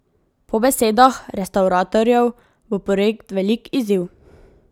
Po besedah restavratorjev bo projekt velik izziv.